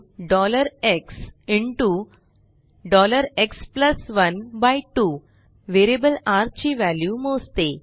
rxएक्स12 variable र ची value मोजते